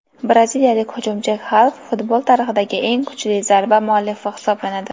Braziliyalik hujumchi Xalk futbol tarixidagi eng kuchli zarba muallifi hisoblanadi.